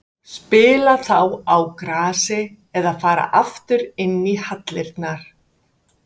Spila þá á grasi eða fara inn í hallirnar?